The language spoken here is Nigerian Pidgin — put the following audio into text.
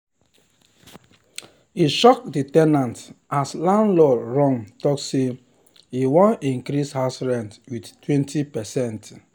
e shock the ten ant as landlord run talk sey e want increase house rent with 20%